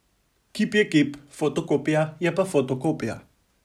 Kip je kip, fotokopija je pa fotokopija.